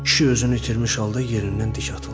Kişi özünü itirmiş halda yerindən dik atıldı.